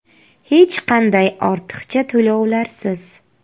Hech qanday ortiqcha to‘lovlarsiz.